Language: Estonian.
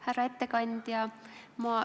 Härra ettekandja!